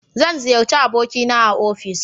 zan ziyarci aboki na a ofis